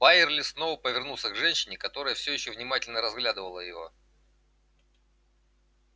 байерли снова повернулся к женщине которая все ещё внимательно разглядывала его